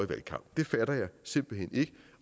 valgkamp det fatter jeg simpelt hen ikke